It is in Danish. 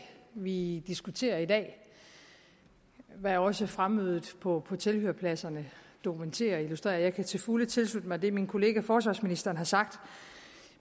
vi diskuterer i dag hvad også fremmødet på tilhørerpladserne dokumenterer og illustrerer jeg kan til fulde tilslutte mig det min kollega forsvarsministeren har sagt